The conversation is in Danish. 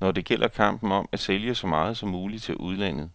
når det gælder kampen om at sælge så meget som muligt til udlandet.